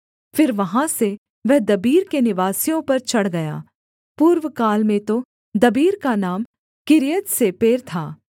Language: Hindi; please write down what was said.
फिर वहाँ से वह दबीर के निवासियों पर चढ़ गया पूर्वकाल में तो दबीर का नाम किर्यत्सेपेर था